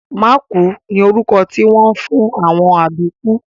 Mákùú ni orúkọ tí wọ́n ń fún àwọn àbíkú